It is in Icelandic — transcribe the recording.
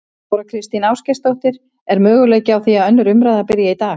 Þóra Kristín Ásgeirsdóttir: Er möguleiki á því að önnur umræða byrji í dag?